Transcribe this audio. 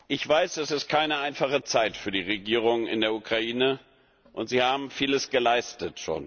Ich weiß, es ist keine einfache Zeit für die Regierung in der Ukraine und sie hat schon vieles geleistet.